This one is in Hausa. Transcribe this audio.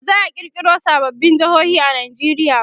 baza'a kirkiro sababbin jehohi a Nigeria ba